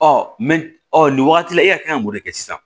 Ɔ nin wagati la e ka kan k'o de kɛ sisan